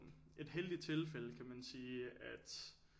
Et heldigt tilfælde kan man sige at